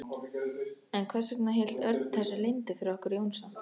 En hvers vegna hélt Örn þessu leyndu fyrir okkur Jónsa?